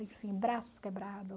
braços quebrado.